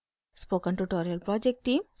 spoken tutorial project team